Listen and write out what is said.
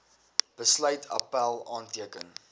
besluit appèl aanteken